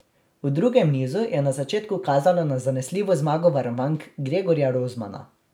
V drugem nizu je na začetku kazalo na zanesljivo zmago varovank Gregorja Rozmana.